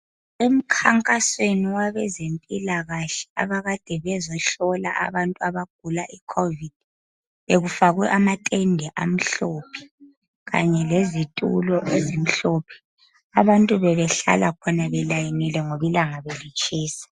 emkhankasweni wabezempilakahle abakade bezehlola abantu abagula i covid bekufakwe amatende amhlophe kanye lezitulo ezimhlophe abantu bebehlala khona belayinile ngoba ilanga belitshisa